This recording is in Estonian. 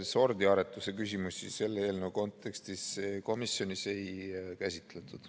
Ei, sordiaretuse küsimusi selle eelnõu kontekstis komisjonis ei käsitletud.